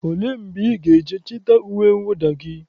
Ole mgbe ị ga-eje chịta uwe mwụda gị?